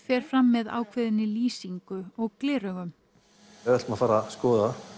fer fram með ákveðinni lýsingu og gleraugum ef við ætlum að fara að skoða